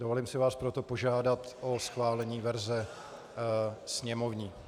Dovolím si vás proto požádat o schválení verze sněmovní.